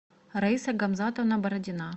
раиса гамзатовна бородина